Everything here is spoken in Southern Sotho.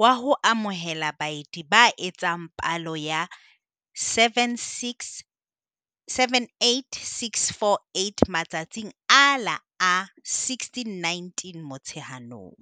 wa ho amohela baeti ba etsang palo ya 78 648 matsatsing a la 16 19 Motsheanong.